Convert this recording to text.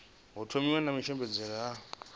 u thomiwa na matshimbidzele a